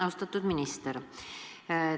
Austatud minister!